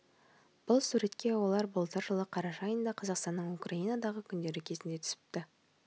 бұл суретке олар былтыр жылы қараша айында қазақстанның украинадағы күндері кезінде түсіпті